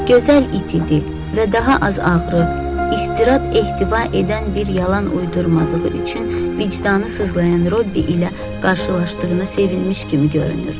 Gözəl it idi və daha az ağrı, istirab ehtiva edən bir yalan uydurmadığı üçün vicdanı sızlayan Robbi ilə qarşılaşdığına sevinmiş kimi görünürdü.